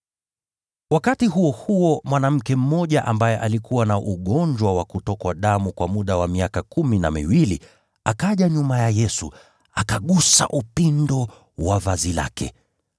Wakati huo huo, mwanamke mmoja, ambaye alikuwa na ugonjwa wa kutokwa damu kwa muda wa miaka kumi na miwili, akaja nyuma ya Yesu, akagusa upindo wa vazi lake,